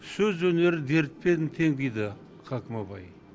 сөз өнері дертпен тең дейді хакім абай